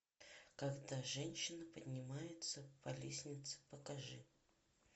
когда женщина поднимается по лестнице покажи